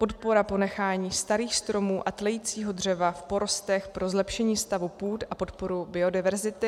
Podpora ponechání starých stromů a tlejícího dřeva v porostech pro zlepšení stavu půd a podporu biodiverzity.